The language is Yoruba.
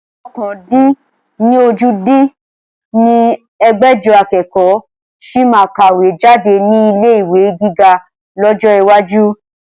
ọ̀kan-dín-ní-ojì dín ní ẹgbẹ́jọ akẹ́kọ̀ sì máa kàwé jáde ní ilé ìwé gíga lọ́jọ́ iwájú